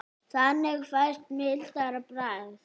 Þannig fæst mildara bragð.